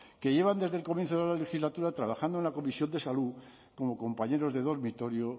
que llevan desde el comienzo de la legislatura trabajando en la comisión de salud como compañeros de dormitorio